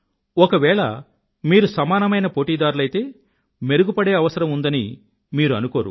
ఒకవేళ మీరు సమానమైన పోటీదారులైతే మెరుగుపడే అవసరం ఉందని మీరు అనుకోరు